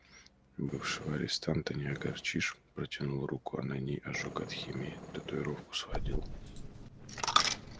бывшего арестанта не огорчишь протянул руку а на ней ожог от химии татуировку сводил